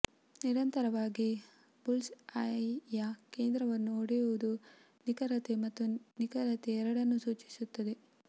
ನಿರಂತರವಾಗಿ ಬುಲ್ಸ್ಐಯ ಕೇಂದ್ರವನ್ನು ಹೊಡೆಯುವುದು ನಿಖರತೆ ಮತ್ತು ನಿಖರತೆ ಎರಡನ್ನೂ ಸೂಚಿಸುತ್ತದೆ